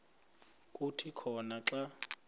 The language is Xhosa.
kuthi khona xa